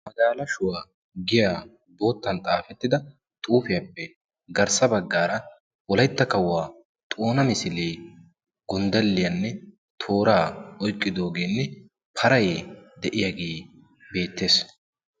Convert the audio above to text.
magaalashuwaa giya boottan xaafettida xuufiyaappe garssa baggaara wolaytta kawuwaa xoona misiliye gonddelliyaanne tooraa oyqqidoogeenne paray de'iyaage beettees